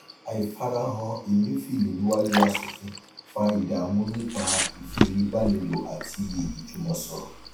àìfarahàn emefiele níwájú aṣòfin fa ìdààmú nípa ìfòyebánilò àti ìjùmọsọrọ